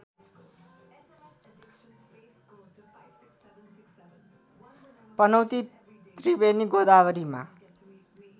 Panauti Triveni गोदावरीमा